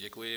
Děkuji.